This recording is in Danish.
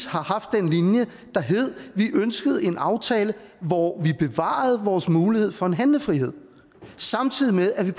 har haft den linje at vi ønskede en aftale hvor vi bevarede vores mulighed for en handlefrihed samtidig med at vi